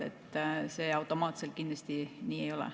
See automaatselt kindlasti nii ei ole.